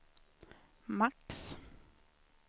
max